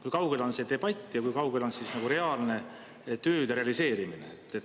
Kui kaugel on see debatt ja kui kaugel on tööde realiseerimine?